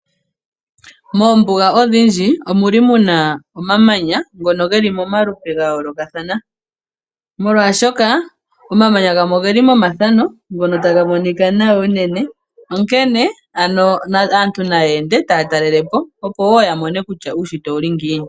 Moombuga odhindji omuli muna omamanya ngono geli momalupe gayoolokathana. Molwashoka omamanya gamwe ogili momathano ngono taga monika nawa unene. Onkene aantu naya ende taya talelepo opo wo yamone kutya uushitwe owuli ngini.